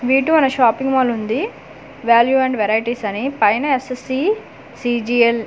వీటు అనే shopping mall ఉంది value and varieties అని పైన ఎస్_ఎస్_సి సిజిఎల్ --